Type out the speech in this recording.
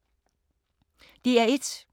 DR1